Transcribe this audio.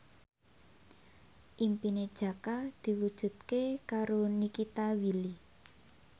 impine Jaka diwujudke karo Nikita Willy